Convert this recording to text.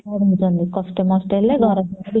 ପଢ଼ୁଛନ୍ତି କଷ୍ଟେ ମାଷ୍ଟେ ହେଲେ ବି